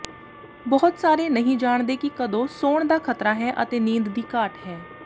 ਬਹੁਤ ਸਾਰੇ ਨਹੀਂ ਜਾਣਦੇ ਕਿ ਕਦੋਂ ਸੌਣ ਦਾ ਖਤਰਾ ਹੈ ਅਤੇ ਨੀਂਦ ਦੀ ਘਾਟ ਹੈ